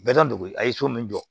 Bɛɛ dɔ b'o a ye so min jɔ